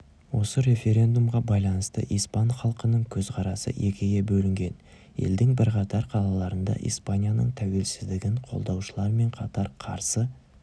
осы референдумға байланысты испан халқының көзқарасы екіге бөлінген елдің бірқатар қалаларында испанияның тәуелсіздігін қолдаушылармен қатар қарсы